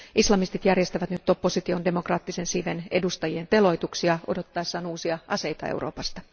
Islamistit järjestävät nyt opposition demokraattisen siiven edustajien teloituksia odottaessaan uusia aseita Euroopasta.